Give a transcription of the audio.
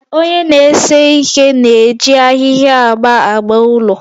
Onye na-ese ihe na-eji ahịhịa agba agba ụlọ